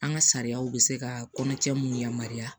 An ka sariyaw bɛ se ka kɔnɔcɛ mun yamaruya